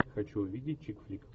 хочу увидеть чик флик